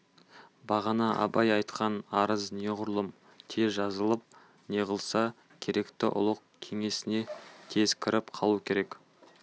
бағана абай айтқан арыз неғұрлым тез жазылып неғылса керекті ұлық кеңсесіне тез кіріп қалу керек